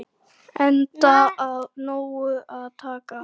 Enda af nógu að taka.